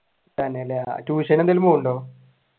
തന്നെയല്ലേ tuition എന്തെങ്കിലും പോകുന്നുണ്ടോ?